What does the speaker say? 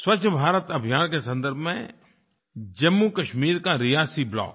स्वच्छ भारत अभियान के सन्दर्भ में जम्मूकश्मीर का रियासी ब्लॉक